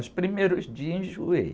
Os primeiros dias, enjoei.